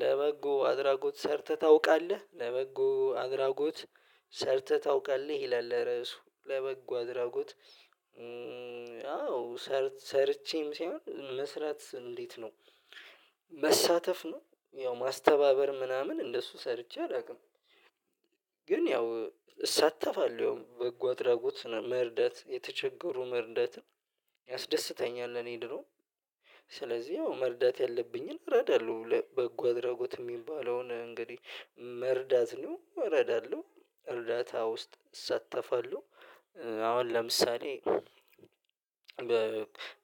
ለበጎ አድራጎት ሰርተህ ታውቃለህ ለበጎ አድራጎት ሰርተህ ታውቃለህ? ይላል ርዕሱ ለበጎ አድራጎት። አዎ ሰርቼም ሳይሆን እንዴት ነው? መሳተፍ ነው ያው ማስተባበር ምናምን እንደሱ ሰርቼ አላውቅም። ግን ያው እሳተፋለሁ ወይም በጎ አድራጎት መርዳት የተቸገሩ መርዳትን ያስደስተኛል። እኔ ድሮ ስለዚህ መርዳት ያለብኝን እረዳለሁ በጎ አድራጎት የሚባለውን እንግዲህ መርዳት ነው እረዳለሁ እርዳታ ውስጥ እሳተፋለሁ። አሁን ለምሳሌ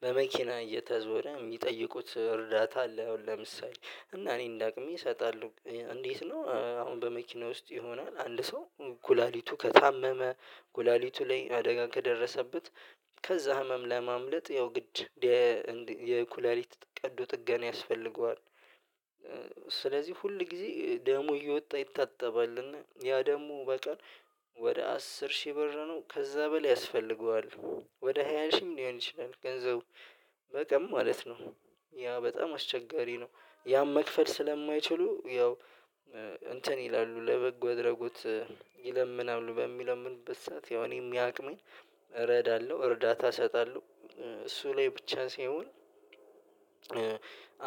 በመኪና እየተዞረ የሚጠይቁት እርዳታ አለ አሁን ለምሳሌ እና እኔ እንዳቅሜ እሰጣለሁ። እንዴት ነው አሁን በመኪና ውስጥ የሆነ አንድ ሰው ኩላሊቱ ከታመመ ኩላሊቱ ላይ አደጋ ከደረሰበት ከዛ ህመም ለማምለጥ ያው ግድ የኩላሊት ቀዶ ጥገና ያስፈልገዋል። ሁል ጊዜ ደሙ እየወጣ ይታጠባል እና ያ ደሙ በቀን ወደ አስር ሺህ ብር ነው። ከዛ በላ ያስፈልገዋል ወደ ሃያ ሺህም ሊሆን ይችላል። ገንዘቡ በቀን ማለት ነው። ያ በጣም አስቸጋሪ ነው። ያን መክፈል ስለማይችሉ ያው እንትን ይላሉ ለበጎ አድራጎት ይለምናሉ በሚለምንበት ሰዓት ያው እኔም ያቅሜን እረዳለሁ እርዳታ እሰጣለሁ። እሱ ላይ ብቻ ሲሆን።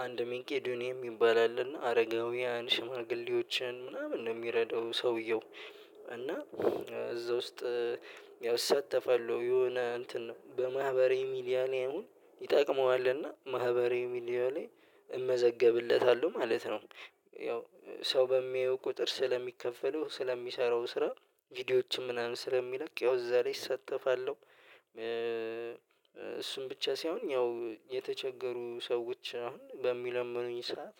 አንድ ሚቂ ዶንቅያን የሚባል አለና አረጋውያን ሽማግሌዎችን ምናምን ነው የሚረዳው ሰውየው። እና እዛ ውስጥ እሳተፋለው የሆነ እንትን በማህበር የሚል ያለኝ ይጠቅመዋል እና ማህበር ሚዲያው ላይ እመዘገብለታለሁ ማለት ነው። ያው ሰው በሚያየው ቁጥር ስለሚከፈለው ስለሚሰራው ስራ ቪዲዮዎችም ምናምን ስለሚለቅ ያው እዛ ላይ እሳተፋለሁ። እሱን ብቻ ሳይሆን ያው የተቸገሩ ሰዎች አሁን በሚለምኑኝ ሰዓት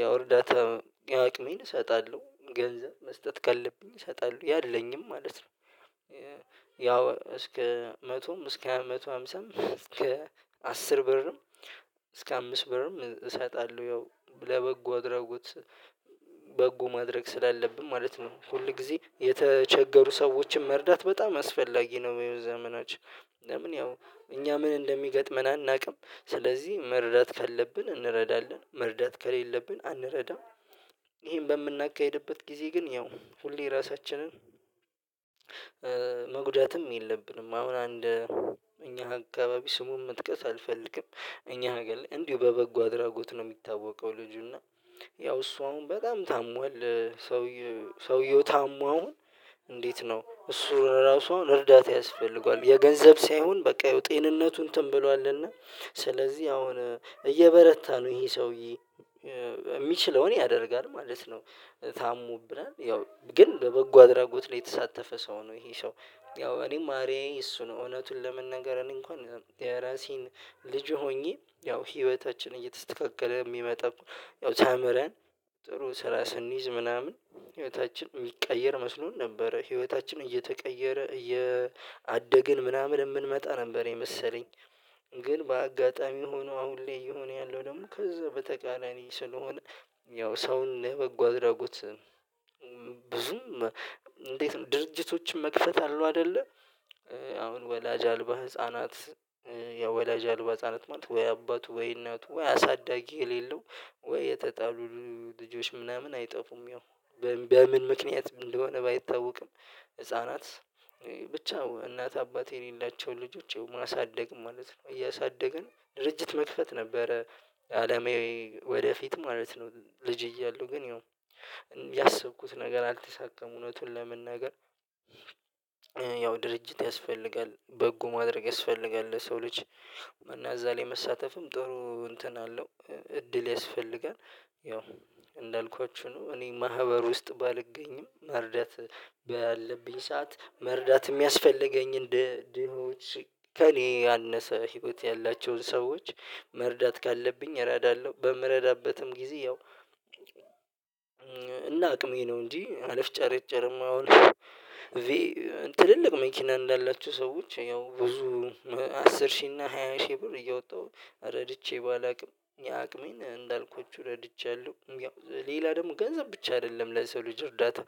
ያወርዳታም ያቅሜን እሰጣለሁ ገንዘብ መስጠት ካለብኝ እሰጣለሁ ያለይን ማለት ነው። ያው እስከ መቶም እስከ መቶ ሃምሳም እስከ አስር ብርም እስከ አምስት ብርም እሰጣለሁ። ያው ለበጎ አድራጎት በጎ ማድረግ ስላለብን ማለት ነው። ሁል ጊዜ የተቸገሩ ሰዎችን መርዳት በጣም አስፈላጊ ነው የሚሆኑት ዘመናችን። ለምን ያው እኛ ምን እንደሚገጥመን አናውቅም። ስለዚህ መረዳት ካለብን እንረዳለን መረዳት ከሌለብን አንረዳም። ይሄን በምናካሂድበት ጊዜ ግን ያው ሁሌ ራሳችንን መጉዳትም የለብንም። አሁን አንድ እኛ አካባቢ ስሙን መጥቀስ አልፈልግም። እኛ ነገር ላይ እንዲሁ በበጎ አድራጎት ነው የሚታወቀው። ልጁና ያው እሷ አሁን በጣም ታሟል ሰውየው ሰውየው ታማው። እንዴት ነው እሱ ራሱ እርዳታ ያስፈልገዋል? የገንዘብ ሳይሆን በቃ ጤንነቱን እንትን ብሏልና ስለዚህ አሁን እየበረታ ነው ይሄ ሰውዬ። የሚችለው ያደርጋል ማለት ነው። ታሙብናል ያው ግን ለበጎ አድራጎት ላይ የተሳተፈ ሰው ነው ይሄ ሰው። ያው እኔም አርያዬ እሱ ነው እውነቱን ለመናገር እንኳን የራሴን ልጅ ሆኜ ያው ህይወታችንን እየተስተካከለ የሚመጣ። ያው ተምረን ጥሩ ስራ ስንይዝ ምናምን ህይወታችን የሚቀየር መስሎን ነበረ ህይወታችን እየተቀየረ እያደግን ምናምን የምንመጣ ነበር የመሰለኝ። ግን በአጋጣሚ ሆኖ አሁን ላይ የሆነ ያለው ደግሞ ከዛ በተቀራኒ ስለሆነ። ያው ሰውን ነህ ለበጎ አድራጎት። ብዙም እንዴት ነው ድርጅቶችን መክፈት አለው አይደለ? አሁን ወላጅ አልባ ህፃናት። የወላጅ አልባ ህፃናት ማለት ወይ አባቱ ወይነቱ ወይ አሳዳጊ የሌለው ወይ የተጣሉ ልጆች ምናምን አይጠፉም። ያው በምን ምክንያት እንደሆነ ባይታወቅም። ህፃናት ብቻ እናት አባቴ የሌላቸው ልጆች ማሳደግ ማለት ነው እያሳደገ ነው ድርጅት መክፈት ነበረ። አላማዊ ወደፊት ማለት ነው። ልጅ እያለሁ ግን ያው ያሰብኩት ነገር አልተሳካም። እውነቱን ለመናገር። ድርጅት ያስፈልጋል በጎ ማድረግ ያስፈልጋል ለሰው ልጅ እና እዛ ላይ መሳተፍም ጥሩ እንትን አለው። እድል ያስፈልጋል። ያው እንዳልኳችሁ ነው እኔ ማህበር ውስጥ ባልገኝም መርዳት። ባለብኝ ሰዓት መርዳት የሚያስፈልገኝ እንደ ድሆች ከእኔ ያነሰ ህይወት ያላቸውን ሰዎች መርዳት ካለብኝ እረዳለሁ። በምረዳበትም ጊዜ ያው እና አቅሜ ነው እንጂ አልፍጨርጨርም። አውልሽ። ትልልቅ መኪና እንዳላችሁ ሰዎች ያው ብዙ አስር ሺህ እና ሃያ ሺህ ብር እየወጣሁ ረድቼ ባላውቅም የአቅሜን እንዳልኩት ረድቻለሁ። ያው ሌላ ደግሞ ገንዘብ ብቻ አይደለም። ለሰው ልጅ እርዳታ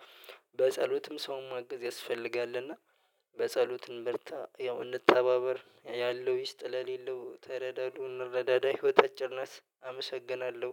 በጸሎትም ሰውን ምገዝ ያስፈልጋል። እና በጸሎትም ብርታ ያው እንተባበር ያለው ይስጥ ለሌለው ተረዳዱን እረዳዳ ህይወት አጭርነት አመሰግናለሁ